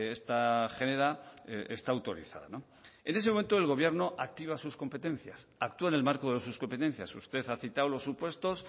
esta genera está autorizada en ese momento el gobierno activa sus competencias actúa en el marco de sus competencias usted ha citado los supuestos